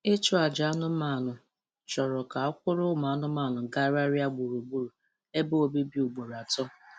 Ịchụ aja anụmanụ chọrọ ka a kwụrụ ụmụ anụmanụ gagharịa gburugburu ebe obibi ugboro atọ